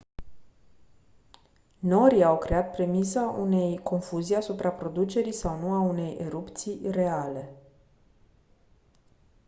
norii au creat premisa unei confuzii asupra producerii sau nu a unei erupții reale